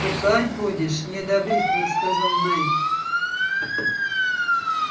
бухать будешь неодобрительно сказал найд